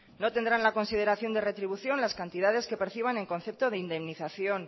no tendrán la consideración de retribución las cantidades que perciban en concepto de indemnización